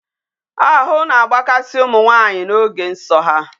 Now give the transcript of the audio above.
Ahụ na-agbakasị ụmụ nwanyị n'ige nsọ ha.